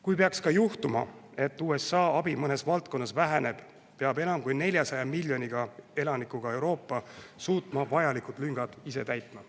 Kui peaks ka juhtuma, et USA abi mõnes valdkonnas väheneb, peab enam kui 400 miljoni elanikuga Euroopa suutma vajalikud lüngad ise täita.